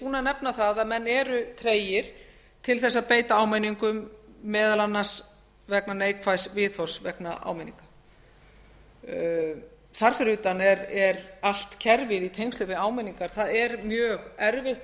að nefna það að menn eru tregir til þess að beita áminningum meðal annars vegna neikvæðs viðhorfs vegna áminninga þar fyrir utan er allt kerfið í tengslum við áminningar það er mjög erfitt og